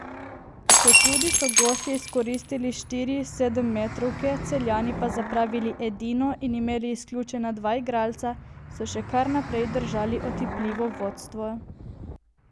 Četudi so gostje izkoristili štiri sedemmetrovke, Celjani pa zapravili edino in imeli izključena dva igralca, so še kar naprej držali otipljivo vodstvo.